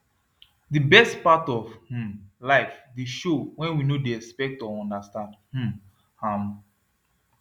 the best part of um life dey show when we no dey expect or understand um am